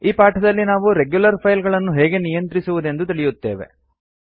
ಈ ಪಾಠದಲ್ಲಿ ನಾವು ರೆಗ್ಯುಲರ್ ಫೈಲ್ ಗಳನ್ನು ಹೇಗೆ ನಿಯಂತ್ರಿಸುವುದೆಂದು ತಿಳಿಯುತ್ತೇವೆ